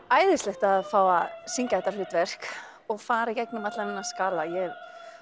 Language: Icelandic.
æðislegt að fá að syngja þetta hlutverk og fara í gegnum allan þennan skala ég hef